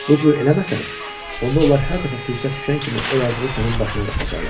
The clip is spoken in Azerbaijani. Bu cür eləməsən, onda onlar hər dəfə fürsət düşən kimi o yazıqı sənin başına qaxacaqlar.